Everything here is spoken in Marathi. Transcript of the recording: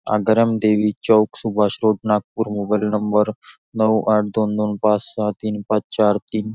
Agaram Devi Chowk Subhash road Nagpur mobile number नऊ आठ दोन दोन पाच सहा तीन पाच चार तीन --